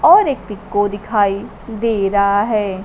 और एक पीको दिखाई दे रहा है।